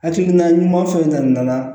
Hakilina ɲuman fɛn na